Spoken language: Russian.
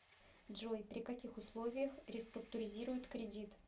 джой при каких условиях реструктуризируют кредит